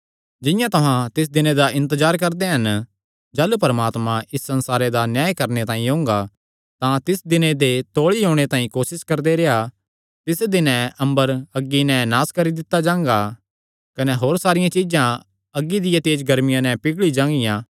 जिंआं तुहां तिस दिने दा इन्तजार करदे हन जाह़लू परमात्मा इस संसारे दा न्याय करणे तांई ओंगा तां तिस दिने दे तौल़ी ओणे तांई कोसस करदे रेह्आ तिस दिने अम्बर अग्गी नैं नास करी दित्ता जांगा कने होर सारियां चीज्जां अग्गी दिया तेज गर्मिया नैं पिघली जांगियां